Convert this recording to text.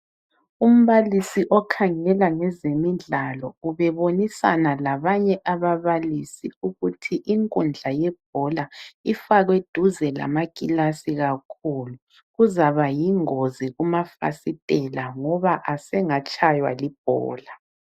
Umbalisi okhangela ngezimidlalo ubebonisana labanye ababalisi ukuthi inkundla yebhola ifakwe duze lamakilasi kakhulu kuzaba yingozi kumafasitela ngoba engatshaywa libhola.